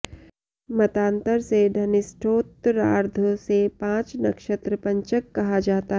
मतान्तर से धनिष्ठोत्तरार्ध से पाँच नक्षत्र पंचक कहा जाता है